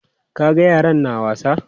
Ka ga yaran na wasa?